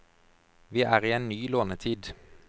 Vi er i en ny lånetid.